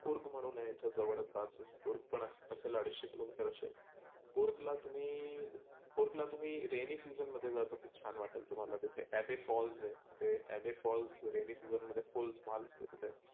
कुर्ग म्हणून आहे इथे जवळचं पासच, कुर्ग पण आहे असेल अडिचशे किलो मिटर कुर्गला तुम्ही, कुर्ग ला तुम्ही rainy season जा छान वाटेल तुम्हाला तीथे. abey falls हे. abey falls rainy season मध्ये full धमाल असते तीथे.